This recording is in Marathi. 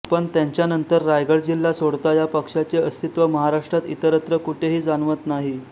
पण त्यांच्यानंतर रायगड जिल्हा सोडता या पक्षाचे अस्तित्व महाराष्ट्रात इतरत्र कुठेही जाणवत नाही